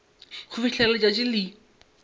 go fihlela ge letšatši le